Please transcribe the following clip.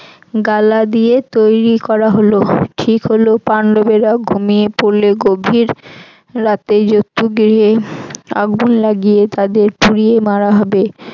গালা দিয়ে তৈরি করা হল ঠিক হল পান্ডবেরা ঘুমিয়ে পড়লে গভীর রাতে জতুগৃহে আগুন লাগিয়ে তাদের পুড়িয়ে মারা হবে।